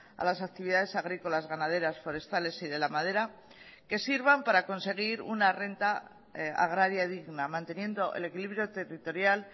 a las actividades agrícolas ganaderas forestales y de la madera que sirvan para conseguir una renta agraria digna manteniendo el equilibrio territorial